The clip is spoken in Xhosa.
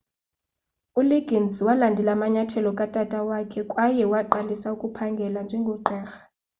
uliggins walandela amanyathelo katata wakhe kwaye waqalisa ukuphangela njengogqirha